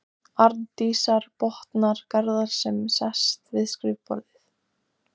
Ég horfði frá mér numinn á þennan magnaða hljómkassa.